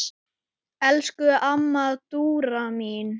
Elsku amma Dúra mín.